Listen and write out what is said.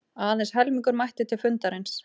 Aðeins helmingur mætti til fundarins